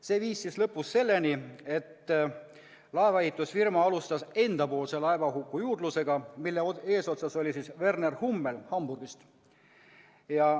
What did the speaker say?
See viis lõpuks selleni, et laevaehitusfirma alustas omapoolset laevahuku juurdlust, mille eesotsas oli Werner Hummel Hamburgist.